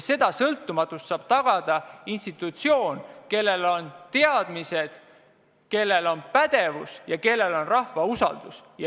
Ja sõltumatuse saab tagada institutsioon, kellel on teadmised, kellel on pädevus ja kellel on rahva usaldus.